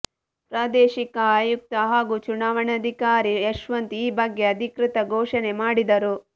ಪ್ರಾದೇಶಿಕ ಆಯುಕ್ತ ಹಾಗೂ ಚುನಾವಣಾಧಿಕಾರಿ ಯಶ್ವಂತ್ ಈ ಬಗ್ಗೆ ಅಧಿಕೃತ ಘೋಷಣೆ ಮಾಡಿದರು